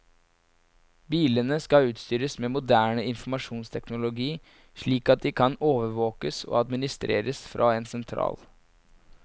Bilene skal utstyres med moderne informasjonsteknologi slik at de kan overvåkes og administreres fra en sentral.